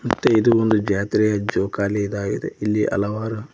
ಮತ್ತು ಇದು ಒಂದು ಜಾತ್ರಿಯ ಜೋಕಾಲಿ ಇದಾಗಿದೆ ಇಲ್ಲಿ ಹಲವಾರು--